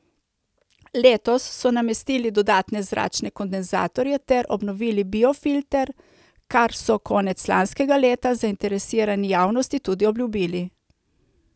Letos so namestili dodatne zračne kondenzatorje ter obnovili biofilter, kar so konec lanskega leta zainteresirani javnosti tudi obljubili.